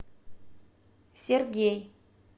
сергей